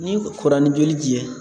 Ni kora ni joli ci yɛ